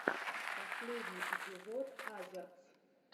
последний эпизод азерц